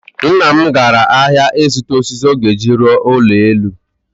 Nna m gara ahịa ịzụta osisi ọ ga-eji rụọ ụlọ elu